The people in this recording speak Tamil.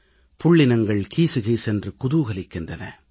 புள்ளினங்கள் கீசுகீசென்று குதூகலிக்கின்றன